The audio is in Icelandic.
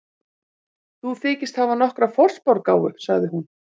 Þú þykist hafa nokkra forspárgáfu, sagði hún.